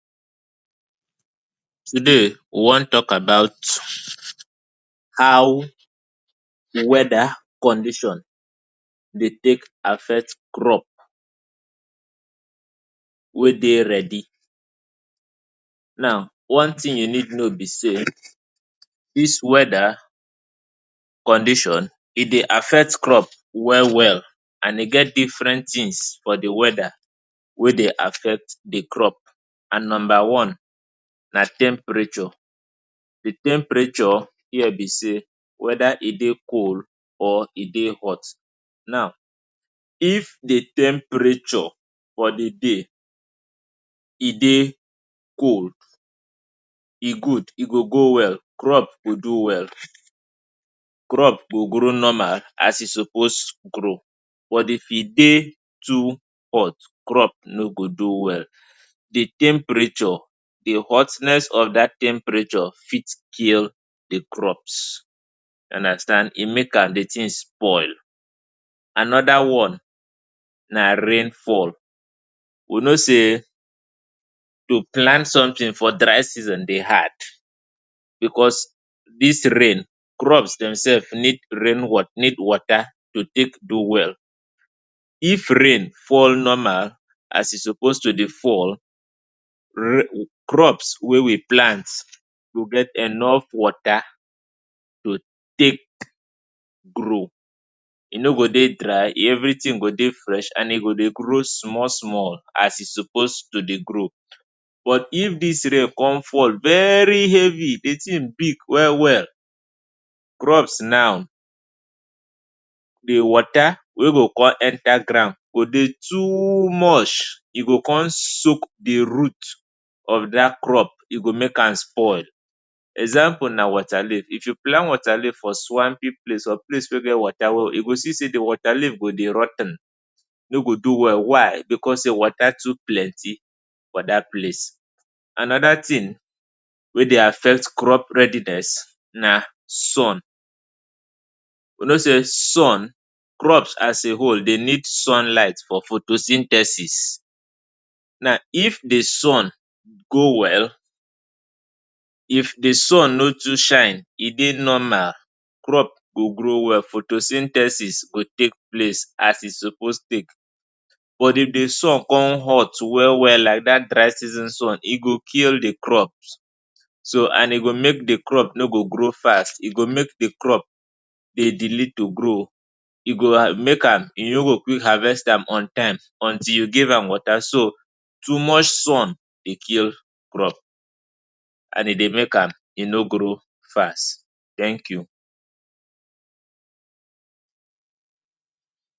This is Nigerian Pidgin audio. Today, we wan talk about how de weather condition dey take affect crop wey dey ready. Now, one thing you need know be sey dis weather condition e dey affect crop well well and e get different things for de weather wey dey affect de crop. And number one: na temperature, de temperature be sey whether e dey cool or e dey hot. Now if de temperature for de day, e dey cold e good e go well crop go do well, crop go grow normal as e suppose grow but if e dey too hot crop nor go do well de temperature de hotness of dat temperature fit kill de crops you understand e make am de thing spoil, another one, na rain fall we know sey to plant something for dry season dey hard because dis rain, crops dem sef need rainwater, need water to take do well. If rain fall normal as e suppose to dey fall, crops wey we plant go get enough water to take grow, e nor go dey dry everything go dey fresh e go dey grow small small as e suppose to dey grow. But if dis rain come fall very heavy de thing big well well crops now, de water wey go come enter ground go dey too much e go come soak de root of dat crop e go make am spoil. Example na waterleaf, if you plant waterleaf for swampy place or place wey water well well, you go see sey de waterleaf go dey rot ten, nor go do well why, because sey water too plenty for dat place. Another thing wey dey affect crop readiness na sun you know sey sun, crop as a whole need sun light for photosynthesis now if de sun go well if de sun nor too shine e dey normal crop go grow well photosynthesis go take place as e suppose take but de sun come hot well well like dat dry season sun e go kill de crops so, and e go make the crop nor go grow fast e go make de crop dey delay to grow e go mke am, you nor go quick harvest am on time until you give am water so too much sun dey kill crop and e dey make am e nor grow fast. Thank you.